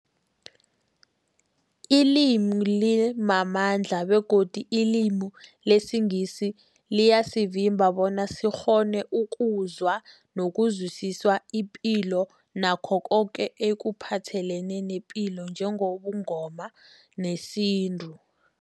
Ilimi limamandla begodu ilimi lesiNgisi liyasivimba bona sikghone ukuzwa nokuzwisisa ipilo nakho koke ekuphathelene nepilo njengobuNgoma nesintu.